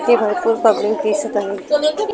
इथे भरपूर पब्लिक दिसत आहे.